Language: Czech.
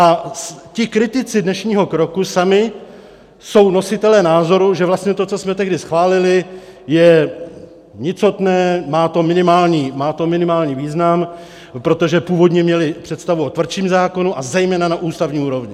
A ti kritici dnešního kroku jsou sami nositelé názoru, že vlastně to, co jsme tehdy schválili, je nicotné, má to minimální význam, protože původně měli představu o tvrdším zákonu, a zejména na ústavní úrovni.